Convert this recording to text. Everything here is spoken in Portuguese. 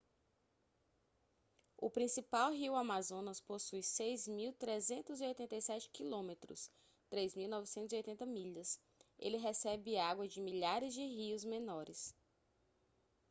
o principal rio amazonas possui 6.387 km 3.980 milhas. ele recebe água de milhares de rios menores